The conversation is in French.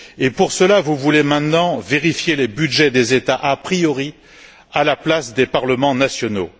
Et pour cela, vous voulez maintenant vérifier les budgets des États a priori à la place des parlements nationaux.